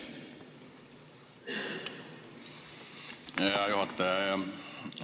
Aitäh, hea juhataja!